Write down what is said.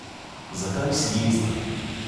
Zakaj si jezna?